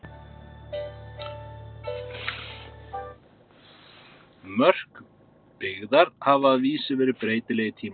Mörk byggðar hafa að vísu verið breytileg í tímans rás.